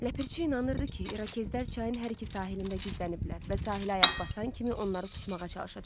Ləpirçi inanırdı ki, İrokezlər çayın hər iki sahilində gizləniblər və sahilə ayaq basan kimi onları tutmağa çalışacaqlar.